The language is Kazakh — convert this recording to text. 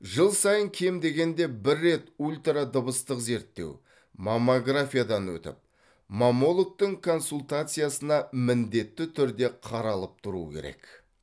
жыл сайын кем дегенде бір рет ультрадыбыстық зерттеу мамографиядан өтіп маммологтың консультациясына міндетті түрде қаралып тұру керек